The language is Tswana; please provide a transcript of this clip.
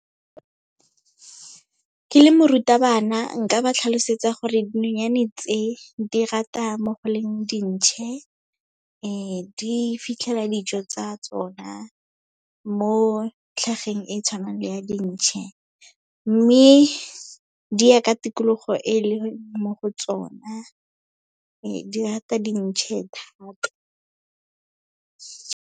Ke le morutabana, nka ba tlhalosetsa gore dinonyane tse, di rata mo go leng dintšhe. Di fitlhela dijo tsa tsona mo tlhageng e tshwanang le ya dintšhe, mme di ya ka tikologo e leng mo go tsona. Di rata dintšhe thata.